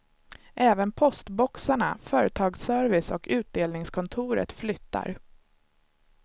Även postboxarna, företagsservice och utdelningskontoret flyttar.